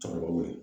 Cɛkɔrɔba b'o ye